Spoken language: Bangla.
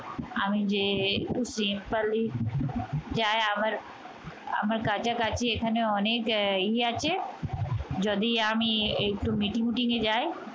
আমি যে একটু simply যায় আমার কাছাকাছি অনেক ইয়ে আছে যদি আমি একটু meeting fitting এ যাই